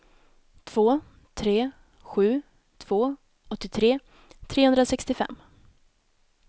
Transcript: två tre sju två åttiotre trehundrasextiofem